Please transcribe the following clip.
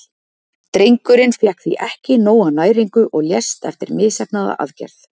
Drengurinn fékk því ekki nóga næringu og lést eftir misheppnaða aðgerð.